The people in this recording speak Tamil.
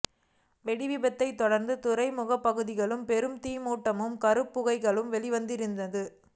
வெடி விபத்தைத் தொடர்ந்த துறைமுகப்பகுதியில் பெரும் தீ மூட்டமும் கரும்புகைகளும் வெளிவந்திருந்தது